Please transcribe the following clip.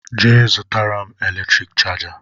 Je zụtara m eletrik chaja